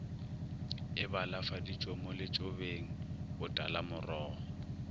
e balafaditšwe mo letšobeng botalamorogo